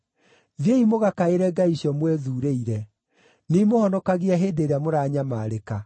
Thiĩi mũgakaĩre ngai icio mwĩthuurĩire. Nĩimũhonokagie hĩndĩ ĩrĩa mũranyamarĩka!”